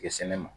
Kɛ sɛnɛ ma